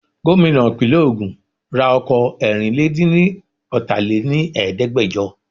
Gómìnà ìpínlè ogún ra ọkọ̀ Ẹẹ́rìnlà dín ni ọta lè ní Ẹ̀ẹ́dẹ́gbẹjọ.